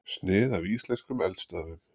Snið af íslenskum eldstöðvum.